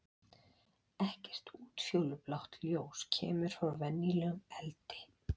Ekkert útfjólublátt ljós kemur frá venjulegum eldi.